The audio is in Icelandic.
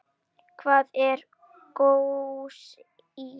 Hvað er kósí?